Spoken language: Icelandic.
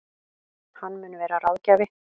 Hann mun vera ráðgjafi